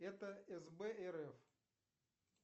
это сб рф